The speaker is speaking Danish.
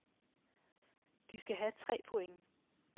De skal have tre point.